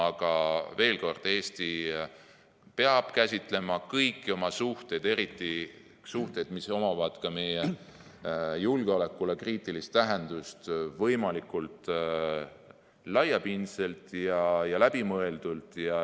Aga veel kord: Eesti peab käsitlema kõiki oma suhteid, eriti suhteid, millel on ka meie julgeolekule kriitiline tähendus, võimalikult laiapindselt ja läbimõeldult.